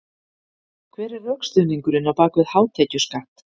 Hver er rökstuðningurinn á bak við hátekjuskatt?